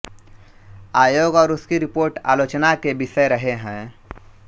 आयोग और उसकी रिपोर्ट आलोचना के विषय रहे हैं